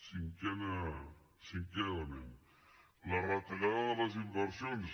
cinquè element la retallada de les inversions